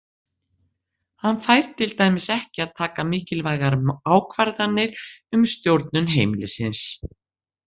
Hann fær til dæmis ekki að taka mikilvægar ákvarðanir um stjórnun heimilisins.